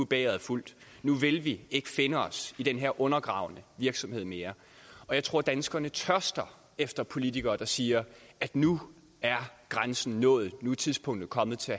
bægeret fuldt nu vil vi ikke finde os i den her undergravende virksomhed mere jeg tror at danskerne tørster efter politikere der siger at nu er grænsen nået nu er tidspunktet kommet til